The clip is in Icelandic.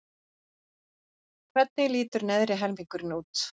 Hvernig lítur neðri helmingurinn út?